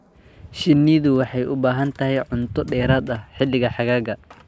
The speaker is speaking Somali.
Shinnidu waxay u baahan tahay cunto dheeraad ah xilliga xagaaga.